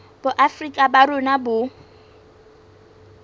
boafrika borwa ba rona bo